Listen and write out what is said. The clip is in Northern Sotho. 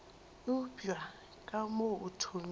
eupša ka mo o thomile